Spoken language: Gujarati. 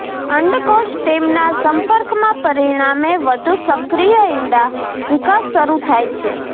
અંડકોશ તેમના સંપર્કમાં પરિણામે વધુ સક્રિય ઇંડા વિકાસ શરૂ થાય છે